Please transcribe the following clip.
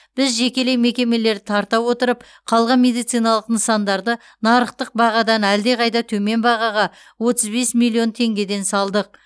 біз жекелей мекемелерді тарта отырып қалған медициналық нысандарды нарықтық бағадан әлде қайда төмен бағаға отыз бес миллион теңгеден салдық